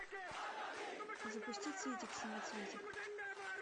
запусти цветик семицветик